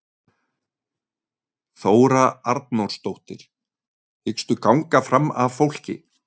Þóra Arnórsdóttir: Hyggstu ganga fram af fólki?